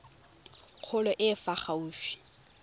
kgolo e e fa gaufi